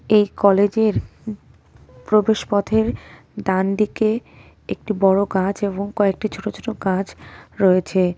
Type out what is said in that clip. এই কলেজের প্রবেশপথের ডান দিকে একটি বড় গাছ এবং কয়েকটি ছোট ছোট গাছ রয়েছে.